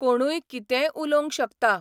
कोणूय कितेंय उलोवं शकता.